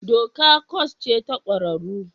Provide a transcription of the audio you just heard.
Doka kwas ce ta ƙwararru